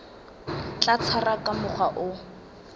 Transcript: tla tshwarwa ka mokgwa o